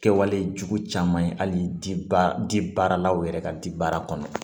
Kɛwale jugu caman ye hali di baaralaw yɛrɛ ka di baara kɔnɔ